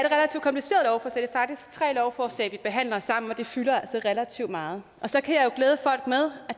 faktisk tre lovforslag vi behandler sammen og det fylder altså relativt meget og så kan